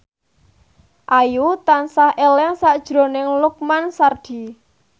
Ayu tansah eling sakjroning Lukman Sardi